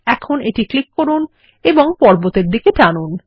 এখন এটি ক্লিক করুন এবং পর্বতের দিকে টানুন